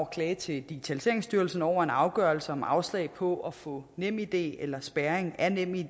klage til digitaliseringsstyrelsen over en afgørelse om afslag på at få nemid eller spærring af nemid